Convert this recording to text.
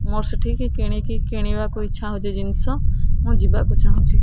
ମୋର ସେଠିକି କିଣିକି କିଣିବାକୁ ଇଛା ହଉଛି ଜିନିଷ ମୁଁ ଯିବାକୁ ଚାହୁଁଛି।